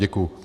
Děkuji.